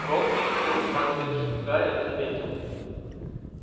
рон пристально присматриваясь в гарри заметил